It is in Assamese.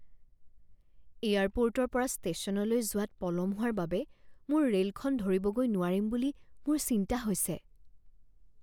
এয়াৰপৰ্টৰ পৰা ষ্টেচনলৈ যোৱাত পলম হোৱাৰ বাবে মোৰ ৰে'লখন ধৰিবগৈ নোৱাৰিম বুলি মোৰ চিন্তা হৈছে।